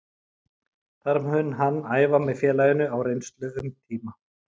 Þar mun hann æfa með félaginu á reynslu um tíma.